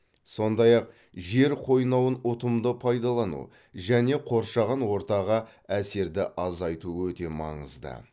сондай ақ жер қойнауын ұтымды пайдалану және қоршаған ортаға әсерді азайту өте маңызды